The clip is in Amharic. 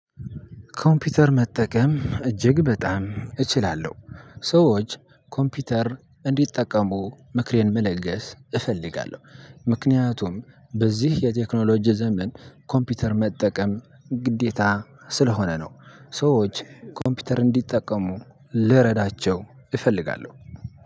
ኮምፒውተር መጠቀም እጅግ በጣም እችላለሁ። ሰዎች ኮምፒውተር እንዲጠቀሙ ምክሬን መለገስ እፈልጋለሁ ምክንያቱም በዚህ የቴክኖሎጂ ዘመን ኮምፒውተር መጠቀም ግዴታ ስለሆነ ነው። ሰዎች ኮምፒውተር እንዲጠቀሙ ልረዳቸው እፈልጋለሁ።